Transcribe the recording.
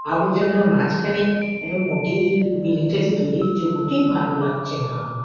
আবর্জনার মাঝখানে এ উম মোটেই বিল্ডিং -টা যে তৈরী হচ্ছে মোটেই ভালো লাগছে না আমার।